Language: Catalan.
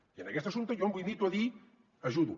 i en aquest assumpte jo em limito a dir ajudo